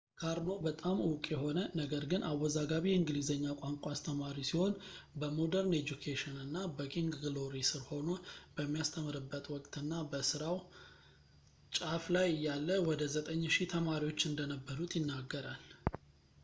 karno በጣም ዕውቅ የሆነ፣ ነገር ግን አወዛጋቢ የእንግሊዘኛ ቋንቋ አስተማሪ ሲሆን፣ በmodern education እና በking glory ስር ሆኖ በሚያስተምርበት ወቅትና በስራው ጫፍ ላይ እያለ ወደ 9000 ተማሪዎች እንደነበሩት ይናገራል